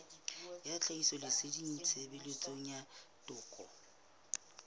ya tlhahisoleseding tshebetsong ya toka